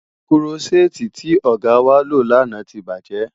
Kúrọ́ṣẹ́ẹ́tì tí ọ̀gá wá lò lánàá ti bàjẹ́.